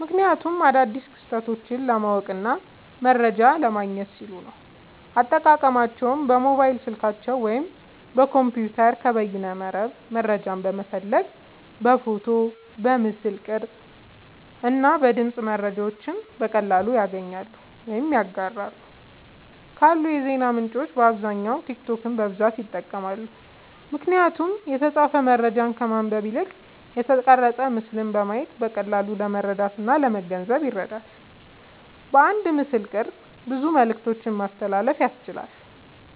ምክንያቱም አዳዲስ ክስተቶችን ለማወቅና መረጃ ለማግኘት ሲሉ ነዉ። አጠቃቀማቸዉም በሞባይል ስልካቸዉ ወይም በኮምፒዉተር ከበይነመረብ መረጃን በመፈለግ በፎቶ፣ በምስል ቅርጽ እና በድምጽ መረጃዎችን በቀላሉ ያገኛሉ ወይም ያጋራሉ። ካሉ የዜና ምንጮች በአብዛኛዉ ቲክቶክን በብዛት ይጠቀማሉ። ምክንያቱም የተጻፈ መረጃን ከማንበብ ይልቅ የተቀረጸ ምስልን በማየት በቀላሉ ለመረዳትእና ለመገንዘብ ይረዳል። በአንድ ምስልቅርጽ ብዙ መልክቶችን ማስተላለፍ ያስችላል።